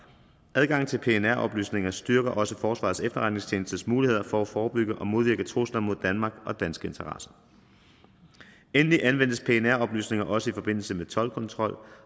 adgangen til pnr oplysninger styrker også forsvarets efterretningstjenestes muligheder for at forebygge og modvirke trusler mod danmark og danske interesser endelig anvendes pnr oplysninger også i forbindelse med toldkontrol